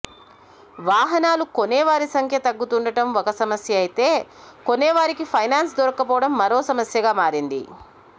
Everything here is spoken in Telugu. వాహనాలు కొనేవారి సంఖ్య తగ్గుతుండటం ఒక సమస్య అయితే కొనేవారికి ఫైనాన్స్ దొరక్కపోవడం మరో సమస్యగా మారింది